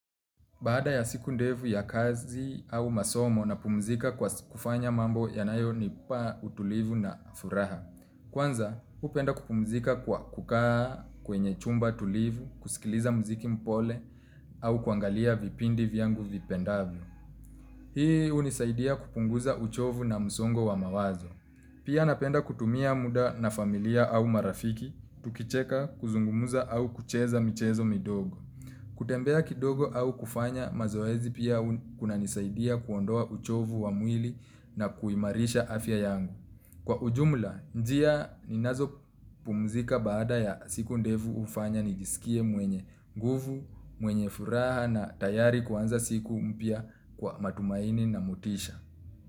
Baada ya siku ndevu ya kazi au masomo, napumuzika kwa kufanya mambo yanayonipa utulivu na furaha. Kwanza, hupenda kupumuzika kwa kukaa kwenye chumba tulivu, kusikiliza mziki mpole au kuangalia vipindi vyangu vipendavyo. Hii hunisaidia kupunguza uchovu na msongo wa mawazo. Pia napenda kutumia muda na familia au marafiki, tukicheka, kuzungumza au kucheza michezo midogo. Kutembea kidogo au kufanya mazoezi pia kunanisaidia kuondoa uchovu wa mwili na kuimarisha afya yangu. Kwa ujumla, njia ninazo pumuzika baada ya siku ndevu ufanya nijisikie mwenye nguvu, mwenye furaha na tayari kuanza siku mpya kwa matumaini na mutisha.